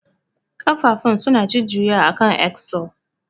Ƙafafun suna jujjuyawa akan axle.